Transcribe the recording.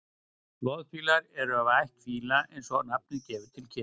loðfílar eru af ætt fíla eins og nafnið gefur til kynna